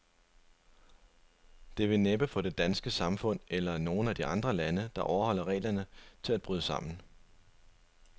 Det vil næppe få det danske samfund, eller nogen af de andre lande, der overholder reglerne, til at bryde sammen.